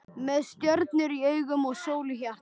Með stjörnur í augum og sól í hjarta.